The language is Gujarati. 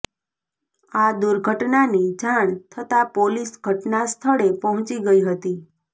આ દૂર્ઘટનાની જાણ થતાં પોલીસ ઘટનાસ્થળે પહોંચી ગઇ હતી